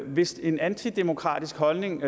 hvis en antidemokratisk holdning